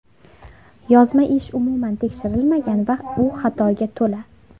Yozma ish umuman tekshirilmagan va u xatoga to‘la.